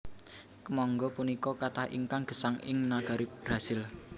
Kèmangga punika katah ingkang gèsang ing nagari Brasil